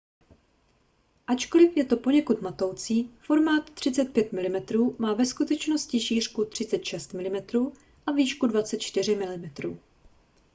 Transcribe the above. ačkoliv je to poněkud matoucí formát 35mm má ve skutečnosti šířku 36mm a výšku 24mm